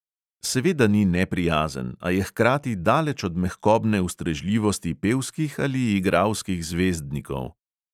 Seveda ni neprijazen, a je hkrati daleč od mehkobne ustrežljivosti pevskih ali igralskih zvezdnikov.